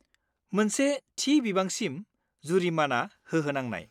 मोनसे थि बिबांसिम जुरिमाना होहोनांनाय।